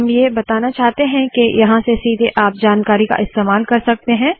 हम ये बताना चाहते है के यहाँ से सीधे आप जानकारी का इस्तेमाल कर सकते है